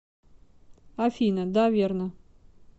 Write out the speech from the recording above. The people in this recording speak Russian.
афина да верно